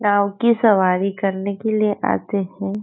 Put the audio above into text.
नाव की सवारी करने के लिए आते हैं।